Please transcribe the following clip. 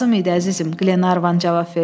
Lazım idi əzizim, Qlenarvan cavab verdi.